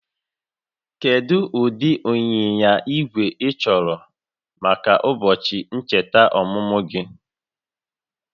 Kedu ụdị ịnyịnya igwe ịchọrọ maka ụbọchị ncheta ọmụmụ gị?